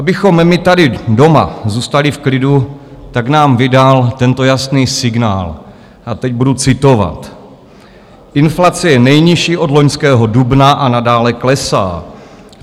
Abychom my tady doma zůstali v klidu, tak nám vydal tento jasný signál, a teď budu citovat: "Inflace je nejnižší od loňského dubna a nadále klesá.